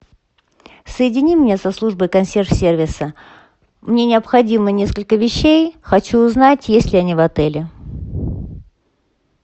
соедини меня со службой консьерж сервиса мне необходимо несколько вещей хочу узнать есть ли они в отеле